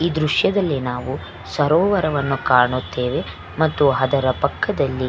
ಈ ದ್ರಶ್ಯದಲ್ಲಿ ನಾವು ಸರೋವರವನ್ನು ಕಾಣುತ್ತೇವೆ ಮತ್ತು ಅದರ ಪಕ್ಕದಲ್ಲಿ --